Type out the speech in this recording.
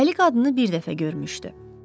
Əli qadını bir dəfə görmüşdü.